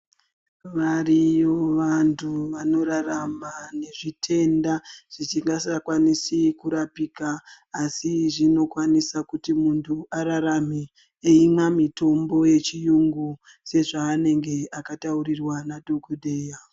Variyo vantu vanorarama nezvitenda zvisingachakwanisi kurapika asi zvinokwanisa kuti munhu ararame eimwa mitombo yechiyungu sekutaurirwa kwaanenge akaitwa nadhokodheya.